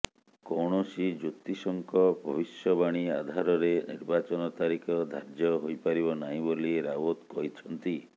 କୌଣସି ଜ୍ୟେତିଷଙ୍କ ଭବିଷ୍ୟବାଣୀ ଆଧାରରେ ନିର୍ବାଚନ ତାରିଖ ଧାର୍ଯ୍ୟ ହୋଇପାରିବ ନାହିଁ ବୋଲି ରାଓ୍ବତ କହିଛନ୍ତି